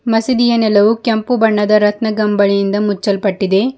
ಮಸೀದಿಯ ನೆಲವು ಕೆಂಪು ಬಣ್ಣದ ರತ್ನಗಂಬಳಿಯಿಂದ ಮುಚ್ಚಲ್ಪಟ್ಟಿದೆ.